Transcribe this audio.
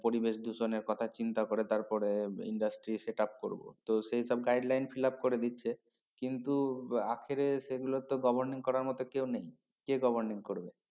পরিবেশ দূষণে কথা চিন্তা করে তারপরে industry setup করবো তো সেই সব guideline fill up করে দিচ্ছে কিন্তু আখেরে সেগুলা তো governing করার মত কেও নেই কে governing করবে